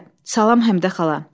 Salam Həmidə xala.